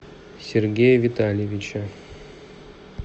сергея витальевича